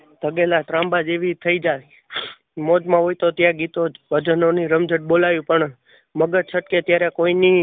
ઘગેલા ત્રાંબા જેવી થઈ જાય. મોજ માં હોય તો ભજનો ની રમઝટ બોલાવી પણ મગજ છટકે ત્યારે કોઈ ની નય.